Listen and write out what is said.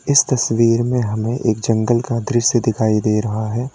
इस तस्वीर में हमें एक जंगल का दृश्य दिखाई दे रहा है।